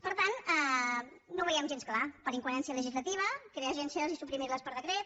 per tant no veiem gens clar per incoherència legislativa crear agències i suprimir les per decret